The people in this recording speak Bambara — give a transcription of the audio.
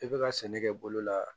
I bɛ ka sɛnɛ kɛ bolo la